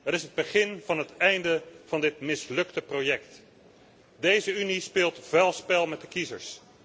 Het is het begin van het einde van dit mislukte project. Deze Unie speelt vuil spel met de kiezers.